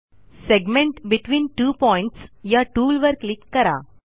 segment between two points या टूलवर click करा